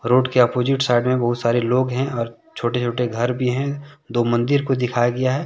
Road के opposite side में बहुत सारे लोग हैं और छोटे छोटे घर भी हैं दो मंदिर को दिखाया गया है।